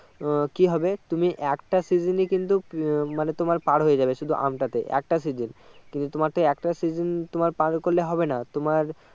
আহ কি হবে তুমি একটা seasons এ কিন্তু আহ মানে তোমার পার হয়ে যাবে শুধু আম টাতে একটা seasons কিন্তু তোমার তো একটা seasons তোমার পার করলে হবে না তোমার